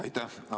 Aitäh!